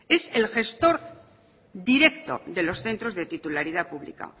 es el gestor directo de los centros de titularidad pública